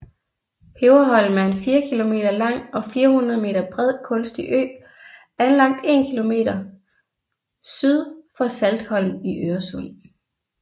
Peberholm er en 4 kilometer lang og 400 meter bred kunstig ø anlagt 1 km syd for Saltholm i Øresund